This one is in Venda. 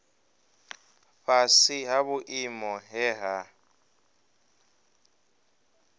fhasi ha vhuimo he ha